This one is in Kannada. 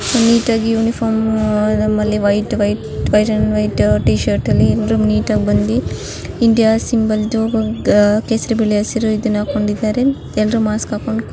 ನೀಟಾಗಿ ಯುನಿಫಾರ್ಮ್ ಆಮೇಲೆ ವೈಟ್ ವೈಟ್ ವೈಟ್ ಟಿಶರ್ಟ್ ಅಲ್ಲಿ ಎಲರು ನೀಟಾಗಿ ಬಂದಿ ಇಂಡಿಯಾಸ್ ಸಿಂಬಲ್ ದು ಕೇಸರಿ ಬಿಡೆ ಹಸಿರು ಇದನ್ನು ಹಾಕ್ಕೊಂಡಿದ್ದಾರೆ ಎಲ್ಲರೂ ಮಾಸ್ಕ್ ಹಾಕೊಂಡ--